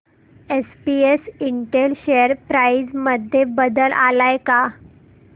SPS Intel share price मध्ये बदल आलाय का